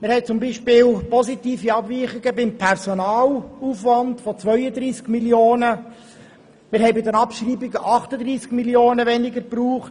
Man hat zum Beispiel beim Personalaufwand positive Abweichungen von 32 Mio. Franken, und auf Seiten der Abschreibungen wurden 38 Mio. Franken weniger gebraucht.